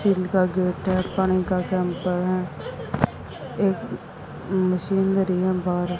जिनका गेट है पानी का कैम्पर है एक मशीन धरी हैं बाहर--